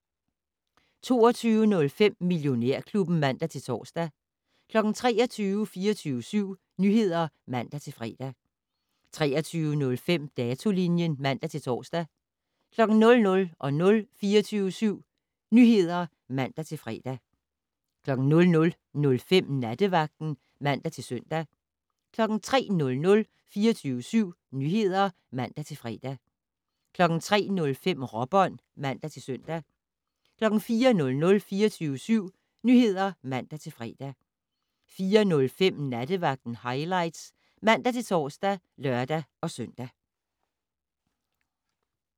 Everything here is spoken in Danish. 22:05: Millionærklubben (man-tor) 23:00: 24syv Nyheder (man-fre) 23:05: Datolinjen (man-tor) 00:00: 24syv Nyheder (man-fre) 00:05: Nattevagten (man-søn) 03:00: 24syv Nyheder (man-fre) 03:05: Råbånd (man-søn) 04:00: 24syv Nyheder (man-fre) 04:05: Nattevagten Highlights (man-tor og lør-søn)